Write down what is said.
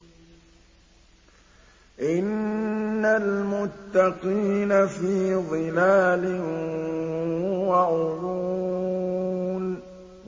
إِنَّ الْمُتَّقِينَ فِي ظِلَالٍ وَعُيُونٍ